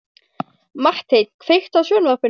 Marteinn, kveiktu á sjónvarpinu.